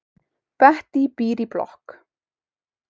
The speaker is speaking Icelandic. Bettý býr í blokk.